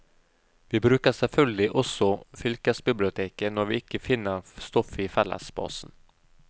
Vi bruker selvfølgelig også fylkesbiblioteket når vi ikke finner stoff i fellesbasen.